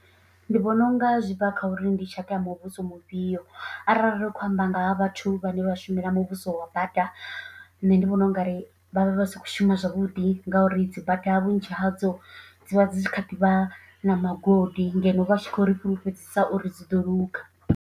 Ndi vhona unga zwi bva kha uri ndi tshaka ya muvhuso mufhio arali ri khou amba nga ha vhathu vhane vha shumela muvhuso wa bada nṋe ndi vhona ungari vha vha si khou shuma zwavhuḓi, ngauri dzi bada vhunzhi hadzo dzi vha dzi tshi kha ḓi vha na magodi ngeno vha tshi khou ri fhulufhedzisa uri dzi ḓo luga.